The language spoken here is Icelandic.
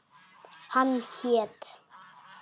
Hann hét